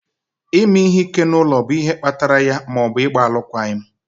ime ihe ike n'ụlọ bụ ihe kpatara ya ma ọ bụ ịgba alụkwaghịm.